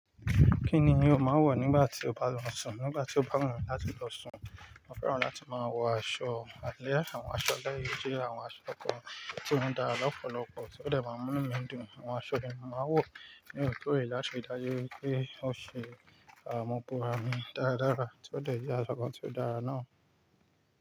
Kí ni mí o máa ń wọ̀ nígbà tí o bá lọ sùn? Nígbà tí ó bá wù mí láti lọ sùn, mo fẹ́ràn láti máa wọ aṣọ alẹ́ àwọn aṣọ eléyìí tí àwọn aṣọ kan tí ó dára lọ́pọ̀lọ́pọ̀ tí ó dẹ̀ máa mú mi dùn. Àwọn aṣọ yẹn mo máa ń wọ̀ ni òòrèkóòrè láti ri dájú pé ó ṣe okun ara mi dáradára tí ó dẹ̀ jẹ́ aṣọ kan tí ó dára náà.